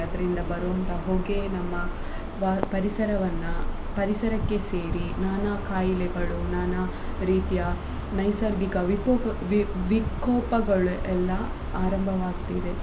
ಅದ್ರಿಂದ ಬರುವಂತ ಹೊಗೆ ನಮ್ಮ ಪರಿಸರವನ್ನ ಪರಿಸರಕ್ಕೆ ಸೇರಿ ನಾನಾ ಕಾಯಿಲೆಗಳು ನಾನಾ ರೀತಿಯ ನೈಸರ್ಗಿಕ ವಿಪೋಕ ವಿ~ ವಿಕೋಪಗಳೆಲ್ಲಾ ಆರಂಭವಾಗ್ತಿದೆ.